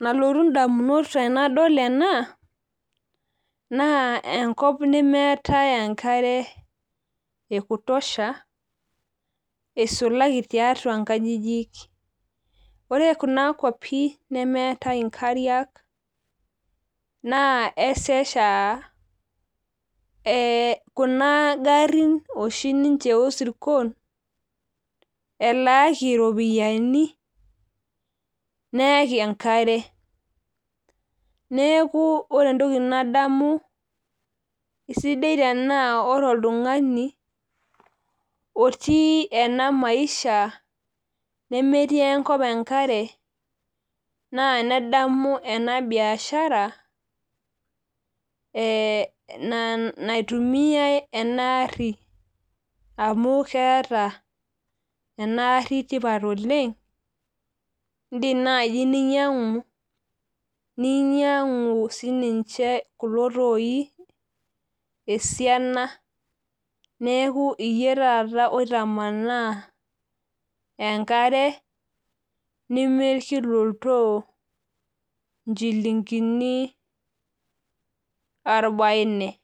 nalotu indamunot tenadol ena naa enkop nemeetae enkare ekutosha, isulaki tiatua inkajijik ore kuna kwapi nemeetae inkariak naa esesha aa kuna garin oshi niche oo isirkon elaaki iropiyiani neeki enkare neeku ore entoki nadamu naa sidai tenaa ore oltung'ani, otii ena maisha nemetii enkop enkare naa nedamu ena biashara, naitumiyai ena ari amu keeta ena gari tipat oleng' odim naaji ninyang'u, ninyang'u sii niche kulo toii esiana neeku iyie taata oitamanaa enkare nimir kila oltoo inchilingini orbaine.